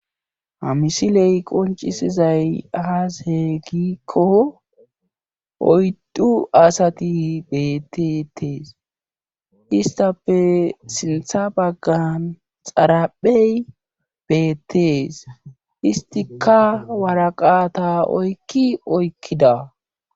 hamisiley qoncisizay aas heegikko oydu asati betetees istape sintha baggan xaraphey bettees istika waraqata oykki oykkida